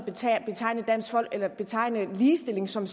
betegne ligestilling som